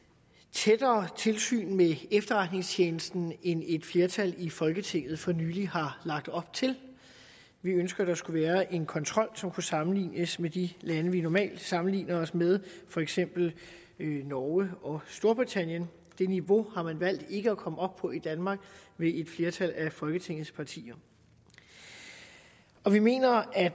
tættere tilsyn med efterretningstjenesten end et flertal i folketinget for nylig har lagt op til vi ønsker at der skal være en kontrol som kan sammenlignes med de lande vi normalt sammenligner os med for eksempel norge og storbritannien det niveau har man valgt ikke at komme op på i danmark ved et flertal af folketingets partier vi mener at